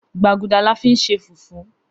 Gbaguda la fin ṣe fufu